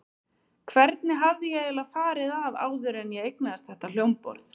Hvernig hafði ég eiginlega farið að áður en ég eignaðist þetta hljómborð?